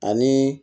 Ani